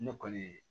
Ne kɔni ye